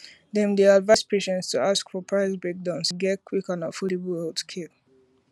dem dey advise patients to ask for price breakdown to get to get quick and affordable healthcare